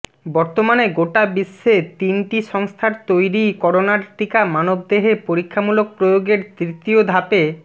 বর্তমানে গোটা বিশ্বে তিনটি সংস্থার তৈরি করোনার টিকা মানবদেহে পরীক্ষামূলক প্রয়োগের তৃতীয় ধাপে